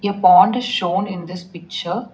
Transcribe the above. A pond shown in this picture.